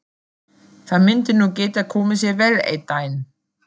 Það myndi nú geta komið sér vel einn daginn.